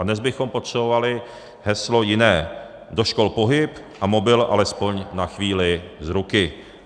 A dnes bychom potřebovali heslo jiné: do škol pohyb a mobil alespoň na chvíli z ruky.